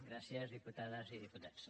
gràcies diputades i diputats